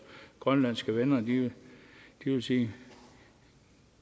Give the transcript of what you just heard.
grønlandske venner ville sige